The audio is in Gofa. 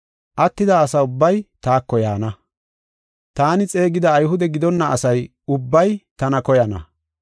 Attida asa ubbay taako yaana, taani xeegida Ayhude gidonna asa ubbay tana koyana.